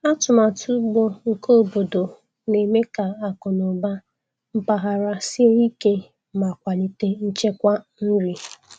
Atụmatụ ugbo nke obodo na-eme ka akụ na ụba mpaghara sie ike ma kwalite nchekwa nri.